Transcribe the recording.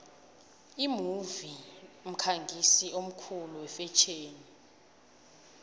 imove mkhangisi omkhulu wefetjheni